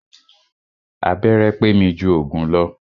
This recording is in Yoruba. Abẹ́rẹ́ pé mi jù òògùn lọ.